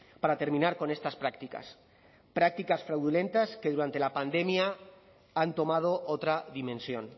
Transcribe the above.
para terminar con estas prácticas prácticas fraudulentas que durante la pandemia han tomado otra dimensión